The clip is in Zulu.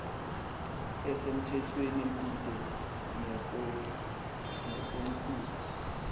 esemthethweni kude nekomkhulu